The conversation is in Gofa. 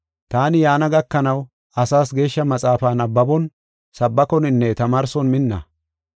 Taani yaana gakanaw asaas Geeshsha maxaafaa nabbabon, sabbakoninne tamaarson minna.